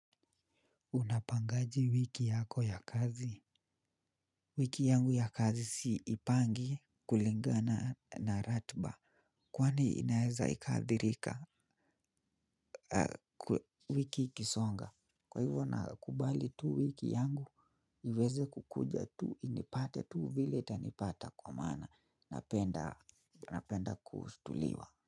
Unapangaje wiki yako ya kazi? Wiki yangu ya kazi siipangi kulingana na ratba. Kwani inaeza ikaadhirika wiki ikisonga? Kwa hivyo nakubali tu wiki yangu, niweze kukuja tu inipate tu vile itanipata kwa maana napenda kutuliwa.